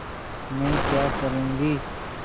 मैं क्या करूँगी